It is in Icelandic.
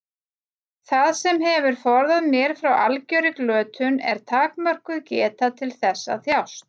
Það sem hefur forðað mér frá algjörri glötun er takmörkuð geta til þess að þjást.